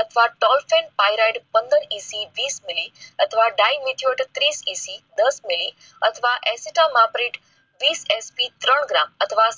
અથવા tolffen pyrade પંદર EC વિસ મિલી અથવા dymatured ત્રીસ EC દસ મીલી અથવા ત્રણ ગ્રા અથવા